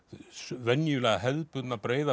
venjulega hefðbundna breiða